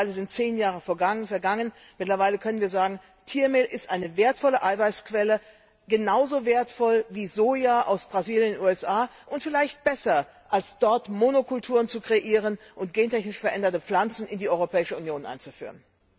Mittlerweile sind 10 Jahre vergangen, und wir können sagen Tiermehl ist eine wertvolle Eiweißquelle, genauso wertvoll wie Soja aus Brasilien und den USA, und vielleicht besser, als dort Monokulturen zu kreieren und gentechnisch veränderte Pflanzen in die Europäische Union einzuführen.